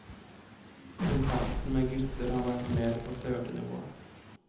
Kontakten med gutter har vært mer på flørtenivået.